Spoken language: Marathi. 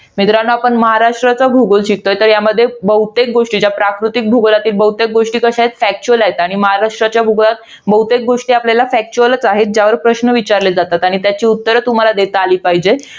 मित्रांनो आपण महाराष्ट्राचा भूगोल शिकतोय. तर यामध्ये बहुतेक गोष्टी, ज्या प्राकृतिक भूगोलातील बहुतेक गोष्टी कशा आहेत? factual आहेत. आणि महाराष्ट्रातल्या बहुतेक गोष्टी आपल्याला, factual आहेत. ज्यावर प्रश्न विचारले जातात आणि त्याची उत्तरं तुम्हाला देता आली पाहिजेत.